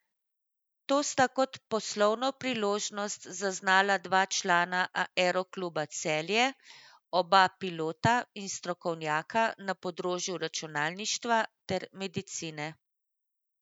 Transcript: To sta kot poslovno priložnost zaznala dva člana Aerokluba Celje, oba pilota in strokovnjaka na področju računalništva ter medicine.